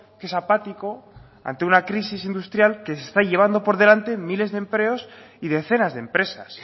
que es apático ante una crisis industrial que se está llevando por delante miles de empleos y decenas de empresas